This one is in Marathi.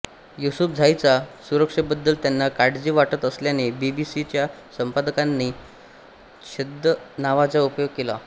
युसूफझाईच्या सुरक्षेबद्दल त्यांना काळजी वाटत असल्याने बीबीसीच्या संपादकांनी छद्म नावाचा उपयोग केला